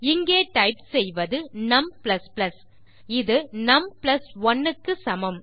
இங்கே டைப் செய்வது num இது நும் 1 க்கு சமம்